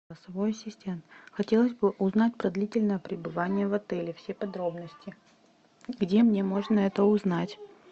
голосовой ассистент хотелось бы узнать про длительное пребывание в отеле все подробности где мне можно это узнать